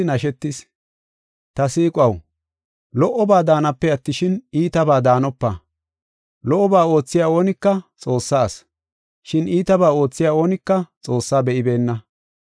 Ta siiquwaw, lo77oba daanape attishin, iitabaa daanopa. Lo77oba oothiya oonika Xoossaa asi, shin iitabaa oothiya oonika Xoossaa be7ibeenna.